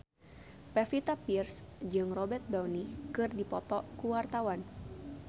Pevita Pearce jeung Robert Downey keur dipoto ku wartawan